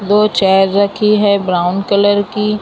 दो चेयर रखी है ब्राउन कलर की--